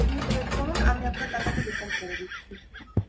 আপনি এক minute wait করুন আমি আপনার টাকাটা refund করে দিচ্ছি